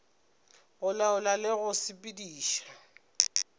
go laola le go sepediša